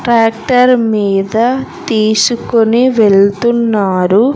Tractor మీద తీసుకొని వెళ్తున్నారు.